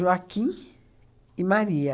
Joaquim e Maria.